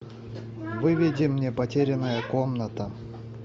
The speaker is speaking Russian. выведи мне потерянная комната